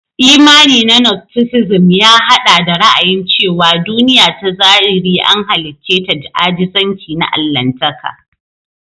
Imani na nostisizim ya haɗa da ra'ayin cewa duniya ta zahiri an halicce ta da ajizanci na Allahntaka.